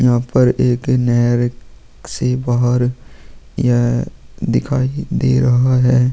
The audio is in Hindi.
यहाँ पर एक नहर से बाहर यह दिखाई दे रहा है।